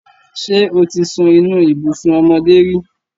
Ṣé o ti sun inú ibùsùn ọmọdé rí?